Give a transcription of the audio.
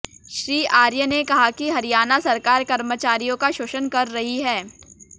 श्री आर्य ने कहा कि हरियाणा सरकार कर्मचारियों का शोषण कर रही है